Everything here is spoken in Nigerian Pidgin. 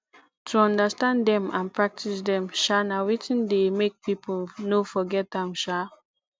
to understand dem and practice dem um na wetin de make pipo no forget am um